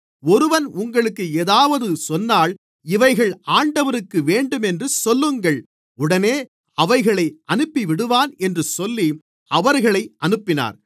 ஒருவன் உங்களுக்கு ஏதாவது சொன்னால் இவைகள் ஆண்டவருக்கு வேண்டுமென்று சொல்லுங்கள் உடனே அவைகளை அனுப்பிவிடுவான் என்று சொல்லி அவர்களை அனுப்பினார்